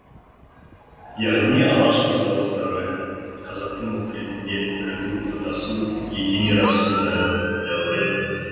яғни алаш қозғалысы дәуірі қазақтың ұлт ретінде бірігу тұтасу етене арасу дәуірі болды